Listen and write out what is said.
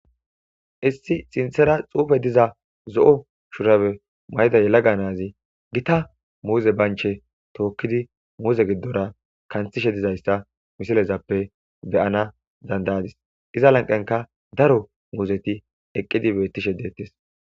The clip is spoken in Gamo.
issi sinthera xuufe diza zo7o shurabe mayda yelaga naazi gita muuze banche tookkidi muuze giddora kanthishe dizayssa misilezappe beyana dandayadis iza lanqenka daro muuzeti eqqidi beettishe deettes